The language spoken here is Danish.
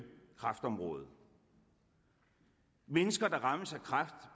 kræftområdet mennesker der rammes af kræft